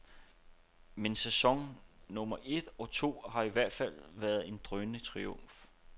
Men sæson nummer et og to har i hvert fald været en drønende triumf.